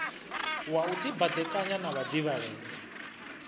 wa u dibadekanya na vhadivhalea